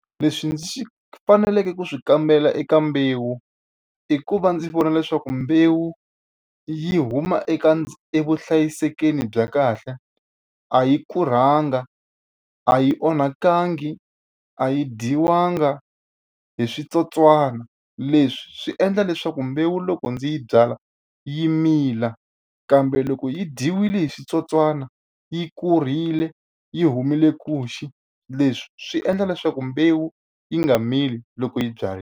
Leswi ndzi faneleke ku swi kambela eka mbewu i ku va ndzi vona leswaku mbewu yi huma eka evuhlayiselweni bya kahle, a yi kurhanga, a yi onhakangi, a yi dyiwanga hi switsotswana. Leswi swi endla leswaku mbewu loko ndzi yi byala yi mila, kambe loko yi dyiwile hi switsotswana yi kurhile, yi humile nkuxu, leswi swi endla leswaku mbewu yi nga mili loko yi byariwile.